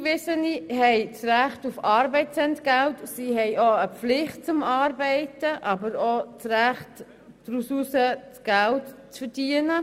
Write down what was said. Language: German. Eingewiesene haben das Recht auf Arbeitsentgelt, sie sind zwar verpflichtet zu arbeiten, haben aber auch das Recht, damit Geld zu verdienen.